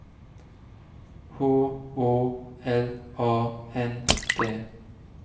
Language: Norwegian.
H Å L A N D